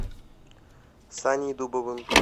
саней дубовым